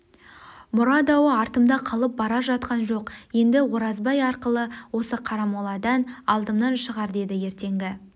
мұра дауы артымда қалып бара жатқан жоқ енді оразбай арқылы осы қарамоладан алдымнан шығар деді ертеңгі